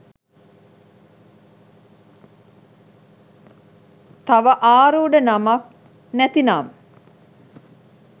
තව ආරූඪ නමක් නැතිනම්